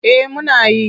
Eh muna yi.